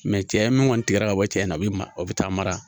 cɛ min kɔni tigɛra ka bɔ cɛ in na a bi o bɛ taa mara